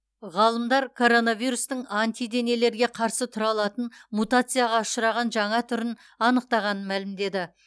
ғалымдар коронавирустың антиденелерге қарсы тұра алатын мутацияға ұшыраған жаңа түрін анықтағанын мәлімдеді